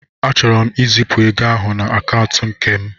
Achọrọ m izipụ ego ahụ na akaụntụ nke m.